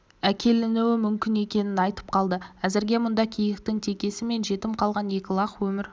әкелінуі мүмкін екенін айтып қалды әзірге мұнда киіктің текесі және жетім қалған екі лақ өмір